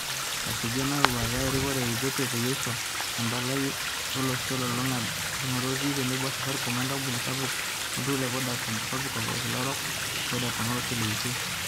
Esuju ena eroruata e erikore e Ethiopia peyie eisho empalai e are olosho olulunga tolingo otii tenebo o Safaricom wengampuni sapuk e olturur le Vodacom e Kopikop olkila orok o Vodakon olosho le UK.